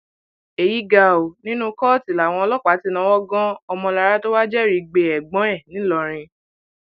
èyí ga ọ nínú kóòtù làwọn ọlọpàá ti náwó gan ọmọlára tó wàá jẹrìí gbé ẹgbọn ẹ ńlọrọrin